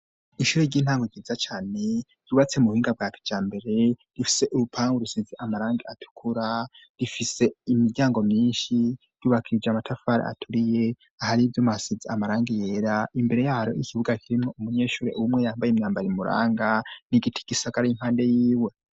Ishure ry'intango ryiza cyane yubatse mu buhinga bwace cya mbere rifise urupang urusinzi amarangi atukura rifise imiryango myinshi y'ubakije amatafari aturiye ahari ibyo muasitzi amarangi yera imbere yaro ikibuga kirimwe umunyeshure ubumwe yambaye imyambar m muranga n'igiti kisakar 'impande y'iwe.